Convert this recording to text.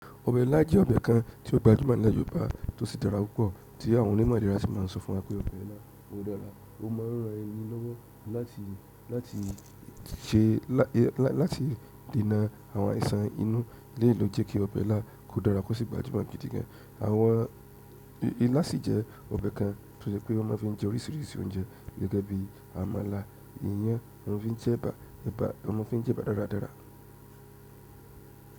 Ọbẹ̀ ilá jẹ́ ọbẹ̀ kan tí ó gbajúmọ̀ ní ìlú Yorùbá tó sí dára púpọ̀ tí àwọn onímọ̀ ìlera sì máa ń sọ fún wa pé ọbẹ̀ ilá ò dára, ó máa ń ran ẹni lọ́wọ́ láti, láti se, láti dènà àwọn àìsàn inú. Eleyi ló jẹ́ kí ọbẹ̀ ilá kò dára kó sì gbajúmọ̀ gidi gan an. Àwọn, ilá sì jẹ́ ọbẹ̀ kan tó jẹ́ pé wọ́n má ń fi jẹ oríṣiríṣi oúnjẹ gẹ́gẹ́ bí àmàlà, iyán, wọ́n fi ń jẹ ẹ̀bà, ẹ̀bà, wọ́n ma ń fi jẹ ẹ̀bà dáradára.